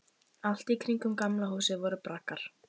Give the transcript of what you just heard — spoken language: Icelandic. Allt í kringum Gamla húsið voru braggar.